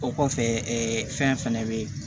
O kɔfɛ fɛn fɛnɛ bɛ ye